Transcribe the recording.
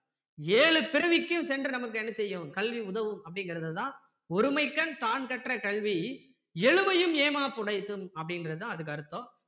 ஏழு பிறவிக்கும் சென்று நமக்கு என்ன செய்யும் கல்வி என்ன செய்யும் கல்வி உதவும் அப்படிங்கிறத தான் ஒருமைக்கண் தான்கற்ற கல்வி எழுமையும் ஏமாப் புடைத்து அப்படின்றது தான் அதுக்கு அர்த்தம்